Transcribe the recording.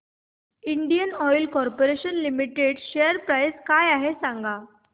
Indian oil corporation limited share price काय आहे सांगा